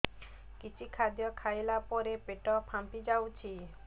କିଛି ଖାଦ୍ୟ ଖାଇଲା ପରେ ପେଟ ଫାମ୍ପି ଯାଉଛି